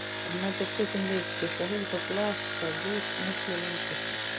verðmætasköpun viðskipta hefur þó blasað við miklu lengur